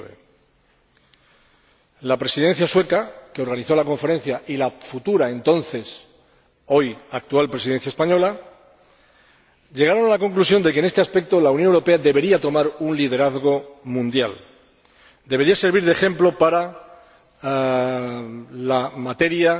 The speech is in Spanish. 2009. La Presidencia sueca, que organizó la conferencia, y la entonces futura —hoy actual Presidencia española— llegaron a la conclusión de que en este aspecto la Unión Europea debería tomar un liderazgo mundial, debería servir de ejemplo para la materia